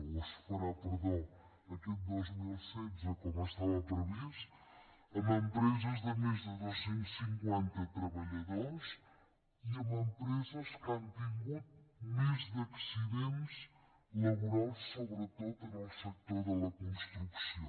o es farà perdó aquest dos mil setze com estava previst en empreses de més de dos cents i cinquanta treballadors i en empreses que han tingut més accidents laborals sobretot en el sector de la construcció